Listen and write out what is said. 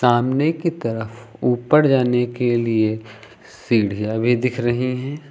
सामने की तरफ ऊपर जाने के लिए सीढ़ियां भी दिख रही हैं।